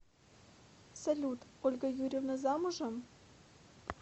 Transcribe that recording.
салют ольга юрьевна замужем